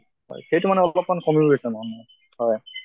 হয় সেইটো মানে অলপ মান কমি গৈছে হয়